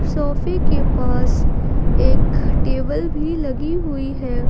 सोफे के पास एक टेबल भी लगी हुई है।